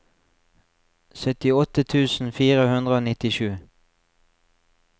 syttiåtte tusen fire hundre og nittisju